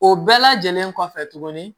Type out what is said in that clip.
O bɛɛ lajɛlen kɔfɛ tuguni